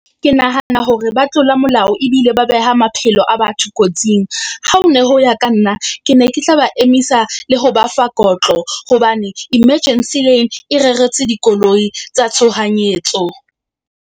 Ke nahana hore ba tlola molao ebile ba beha maphelo a batho kotsing. Ha ho ne ho ya ka nna ke ne ke tla ba emisa le ho ba fa kotlo, hobane emergency lane e reretswe dikoloi tsa tshohanyetso.